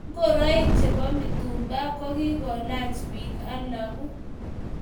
Ngoroik chebo mitumba kogigolach bik alagu